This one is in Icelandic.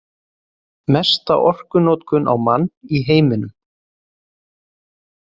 Mesta orkunotkun á mann í heiminum